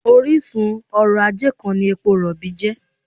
Orísun ọrọ̀-ajé kan ni epo rọ̀bì jẹ́